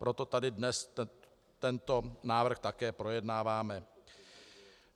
Proto tady dnes tento návrh také projednáváme.